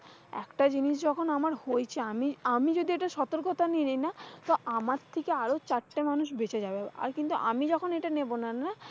একটা জিনিস যখন আমার হয়েছে আমি, আমি যদি এইটা সতর্কতা নেয় না, তো আমার থেকে আরো চারটা মানুষ বেচে যাবে। আর কিন্তু আমি যখন এইটা নেব না না,